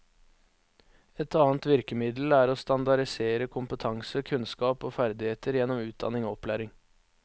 Et annet virkemiddel er å standardisere kompetanse, kunnskap og ferdigheter gjennom utdanning og opplæring.